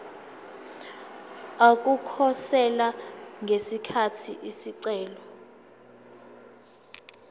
ukukhosela ngesikhathi isicelo